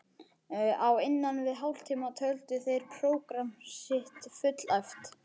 Á innan við hálftíma töldu þeir prógramm sitt fullæft.